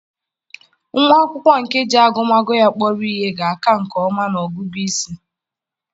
Nwa akwụkwọ nke ji agụmagụ ya kpọrọ ihe ga-aka nke ọma na ọgụgụ isi.